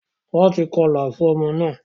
Wón tí kọla fun omo won